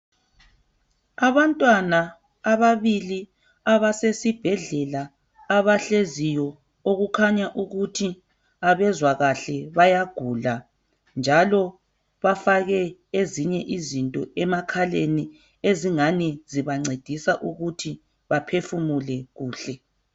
Abantwana ababili abasesibhedlela abahleziyo okukhanya ukuthi abezwa kahle bayagula njalo bafake ezinye izinto emakhaleni esingani zibancedisa ukuthi baphefumule kuhle.